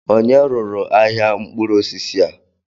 Ònye rụrụ ahịa mkpụrụ osisi a?